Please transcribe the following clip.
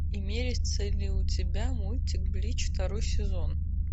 имеется ли у тебя мультик блич второй сезон